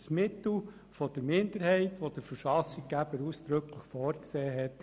Es ist ein Mittel der Minderheit, das der Verfassungsgeber ausdrücklich vorgesehen hat.